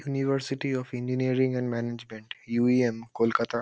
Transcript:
University of engineering and management UEM Kolkata.